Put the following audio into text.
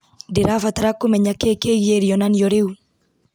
ndĩrabatara kũmenya kĩĩ kĩgiĩ rĩonanio rĩu